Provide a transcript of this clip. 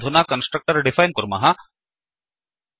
वयमधुना constructor define कुर्मः